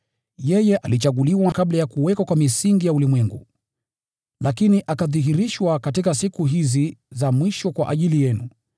Yeye alichaguliwa kabla ya kuwekwa kwa misingi ya ulimwengu, lakini akadhihirishwa katika siku hizi za mwisho kwa ajili yenu.